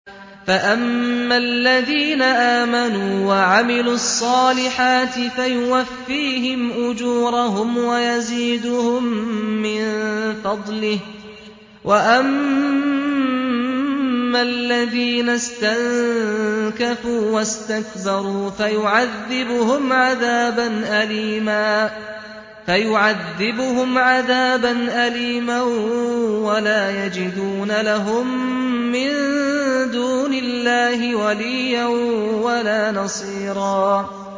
فَأَمَّا الَّذِينَ آمَنُوا وَعَمِلُوا الصَّالِحَاتِ فَيُوَفِّيهِمْ أُجُورَهُمْ وَيَزِيدُهُم مِّن فَضْلِهِ ۖ وَأَمَّا الَّذِينَ اسْتَنكَفُوا وَاسْتَكْبَرُوا فَيُعَذِّبُهُمْ عَذَابًا أَلِيمًا وَلَا يَجِدُونَ لَهُم مِّن دُونِ اللَّهِ وَلِيًّا وَلَا نَصِيرًا